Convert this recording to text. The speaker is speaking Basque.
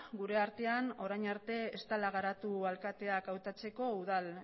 gure artean orain arte ez dela garatu alkateak hautatzeko udal